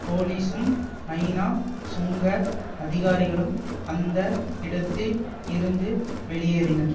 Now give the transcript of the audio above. போலீசும் ஐநா சுங்க அதிகாரிகளும் அந்த இடத்தில் இருந்து வெளியேறினர்